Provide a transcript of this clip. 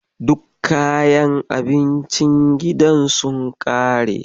Duk kayan abincin gidan sun ƙare.